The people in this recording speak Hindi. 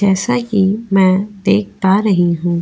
जैसा कि मैं देख पा रही हूँ --